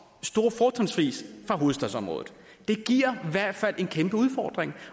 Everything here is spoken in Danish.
fra hovedstadsområdet det giver i hvert fald en kæmpe udfordring